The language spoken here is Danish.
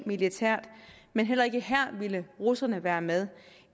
militært ind men heller ikke her ville russerne være med